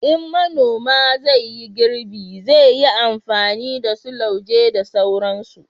in manoma zai yi girbi, zai yi amfani da su lauje da sauransu